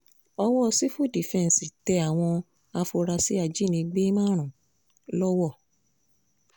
ọwọ́ ọ civil defense tẹ àwọn afurasí ajínigbé márùn-ún lọ́wọ̀